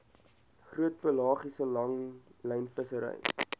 groot pelagiese langlynvissery